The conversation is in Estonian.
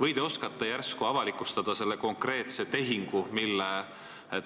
Või te oskate järsku avalikustada selle konkreetse tehingu, mille